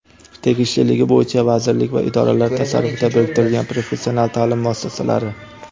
Tegishliligi bo‘yicha vazirlik va idoralar tasarrufiga biriktirilgan professional taʼlim muassasalari:.